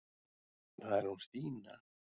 Það er hún Stína.